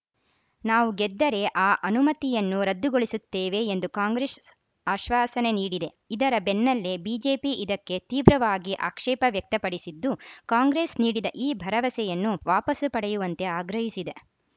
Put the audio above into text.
ನಾವು ಗೆದ್ದರೆ ಆ ಅನುಮತಿಯನ್ನು ರದ್ದುಗೊಳಿಸುತ್ತೇವೆ ಎಂದು ಕಾಂಗ್ರೆಸ್‌ ಆಶ್ವಾಸನೆ ನೀಡಿದೆ ಇದರ ಬೆನ್ನಲ್ಲೇ ಬಿಜೆಪಿ ಇದಕ್ಕೆ ತೀವ್ರವಾಗಿ ಆಕ್ಷೇಪ ವ್ಯಕ್ತಪಡಿಸಿದ್ದು ಕಾಂಗ್ರೆಸ್‌ ನೀಡಿದ ಈ ಭರವಸೆಯನ್ನು ವಾಪಸು ಪಡೆಯುವಂತೆ ಆಗ್ರಹಿಸಿದೆ